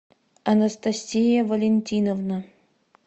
анастасия валентиновна